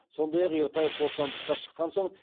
сондай ақ ертаев бостандыққа шыққан соң